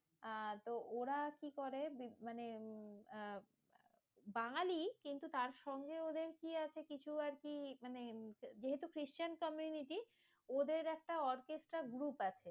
আহ তো ওরা কি করে? মানে আহ বাঙালি কিন্তু তার সঙ্গে ওদের কি আছে? কিছু আরকি মানে যেহেতু খ্রিষ্টান community ওদের একটা orchestra group আছে।